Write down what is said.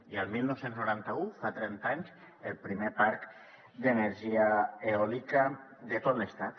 i el dinou noranta u fa trenta anys el primer parc d’energia eòlica de tot l’estat